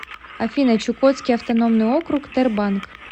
афина чукотский автономный округ тербанк